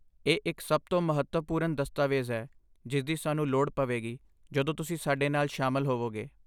ਇਹ ਇੱਕ ਸਭ ਤੋਂ ਮਹੱਤਵਪੂਰਨ ਦਸਤਾਵੇਜ਼ ਹੈ ਜਿਸ ਦੀ ਸਾਨੂੰ ਲੋੜ ਪਵੇਗੀ ਜਦੋਂ ਤੁਸੀਂ ਸਾਡੇ ਨਾਲ ਸ਼ਾਮਲ ਹੋਵੋਗੇ